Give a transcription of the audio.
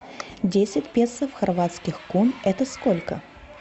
десять песо в хорватских кун это сколько